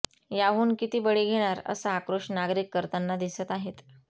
याहून किती बळी घेणार असा आक्रोश नागरिक करताना दिसत आहेत